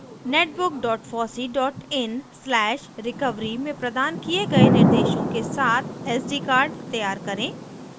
netbook fossee in/recovery में प्रदान किये गए निर्देशों के साथ sd कार्ड तैयार करें